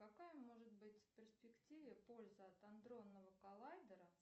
какая может быть в перспективе польза от адронного коллайдера